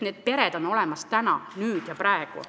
Need pered on olemas täna, nüüd ja praegu.